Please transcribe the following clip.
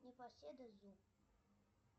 непоседа зу